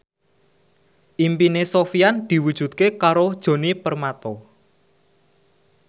impine Sofyan diwujudke karo Djoni Permato